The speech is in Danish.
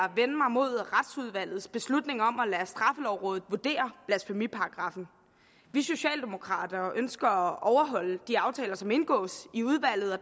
mod retsudvalgets beslutning om at lade straffelovrådet vurdere blasfemiparagraffen vi socialdemokrater ønsker at overholde de aftaler som indgås i udvalget og